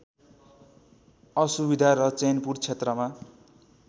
असुविद्या र चैनपुर क्षेत्रमा